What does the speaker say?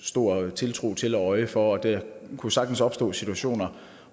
stor tiltro til og øje for og der kunne sagtens opstå situationer